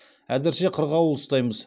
әзірше қырғауыл ұстаймыз